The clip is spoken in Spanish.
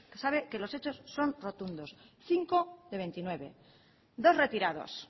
sabe que los hechos son rotundos cinco de veintinueve dos retirados